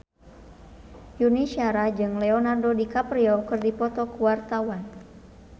Yuni Shara jeung Leonardo DiCaprio keur dipoto ku wartawan